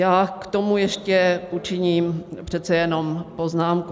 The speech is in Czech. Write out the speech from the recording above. Já k tomu ještě učiním přece jenom poznámku.